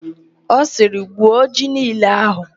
Ọ sịrị, "gwuo ji niile ahụ"!